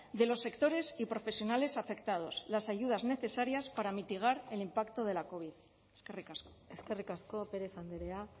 de los sectores y profesionales afectados las ayudas necesarias para mitigar el impacto de la covid eskerrik asko eskerrik asko pérez andrea